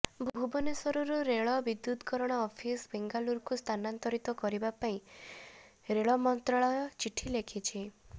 ଭୁବନେଶ୍ବରରୁ ରେଳ ବିଦ୍ୟୁତକରଣ ଅଫିସ ବେଙ୍ଗାଲୁରୁକୁ ସ୍ଥାନାନ୍ତର କରିବା ନେଇ ରେଳ ମନ୍ତ୍ରଣାଳୟ ଚିଠି ଲେଖିଛି